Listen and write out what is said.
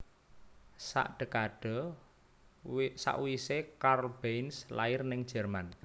Sak dekade sakwise Karl Benz lair ning Jerman